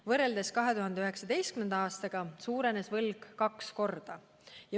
Võrreldes 2019. aastaga oli võlg suurenenud kaks korda.